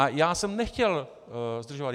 A já jsem nechtěl zdržovat.